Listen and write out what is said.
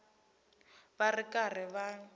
va ri karhi va n